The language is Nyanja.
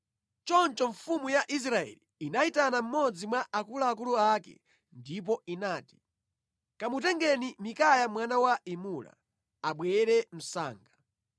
Choncho mfumu ya Israeli inayitana mmodzi mwa akuluakulu ake ndipo inati, “Kamutengeni Mikaya mwana wa Imula, abwere msanga.”